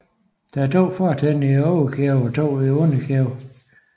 Der er to fortænder i overkæben og to i underkæben